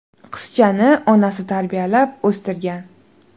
Qizchani onasi tarbiyalab o‘stirgan.